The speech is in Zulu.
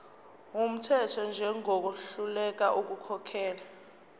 wumthetho njengohluleka ukukhokhela